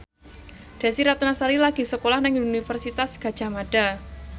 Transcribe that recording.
Desy Ratnasari lagi sekolah nang Universitas Gadjah Mada